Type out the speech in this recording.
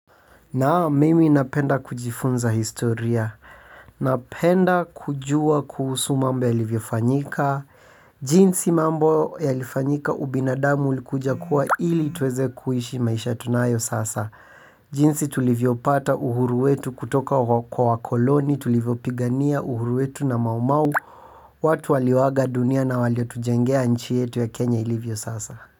Naam mimi napenda kujifunza historia, napenda kujua kuhusu mambo yalivyofanyika, jinsi mambo yalifanyika ubinadamu ulikuja kuwa ili tuweze kuishi maisha tunayo sasa. Jinsi tulivyo pata uhuru wetu kutoka kwa koloni, tulivyopigania uhuru wetu na maumau, watu walioaga dunia na waliotujengea nchi yetu ya Kenya ilivyo sasa.